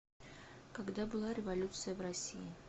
когда была революция в россии